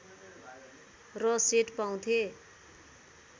र सेट पाउँथे